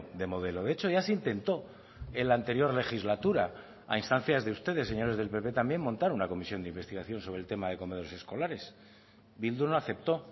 de modelo de hecho ya se intentó en la anterior legislatura a instancias de ustedes señores del pp también montar una comisión de investigación sobre el tema de comedores escolares bildu no aceptó